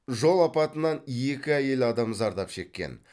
жол апатынан екі әйел адам зардап шеккен